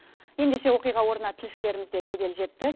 ендеше оқиға орнына тілшілеріміз де жедел жетті